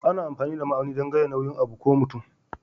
Ana amfani da ma'auni dan gaya nauyin abu ko mutum.